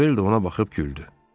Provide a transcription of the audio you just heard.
Manuel də ona baxıb güldü.